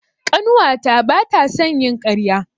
Ƙanuwata ba ta son yin ƙarya.